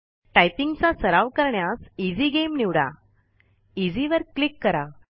typing चा सराव करण्यास इझी गेम निवडा Easy वर क्लिक करा